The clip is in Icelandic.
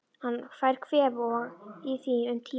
Hann fær kvef og á í því um tíma.